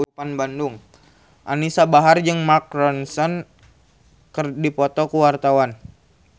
Anisa Bahar jeung Mark Ronson keur dipoto ku wartawan